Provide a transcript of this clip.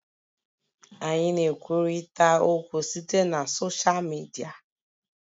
Anyị na-ekwurịta okwu site na soshal Midia